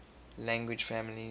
language families